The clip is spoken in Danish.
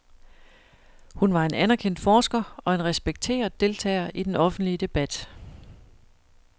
Hun var en anerkendt forsker og en respekteret deltager i den offentlige debat.